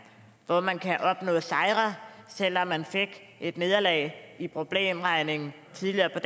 hvor man kan opnå sejre selv om man fik et nederlag i problemregning tidligere på